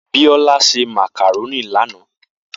Biola se màkàrónì lánàá